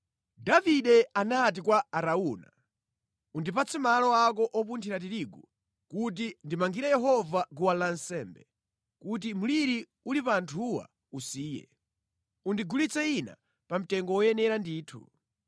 Davide anati kwa Arauna, “Undipatse malo ako opunthira tirigu kuti ndimangire Yehova guwa lansembe, kuti mliri uli pa anthuwa usiye. Undigulitse ine pa mtengo woyenera ndithu.”